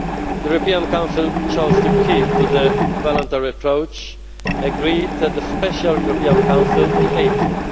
The European Council chose to keep to the voluntary approach agreed at the Special European Council in April.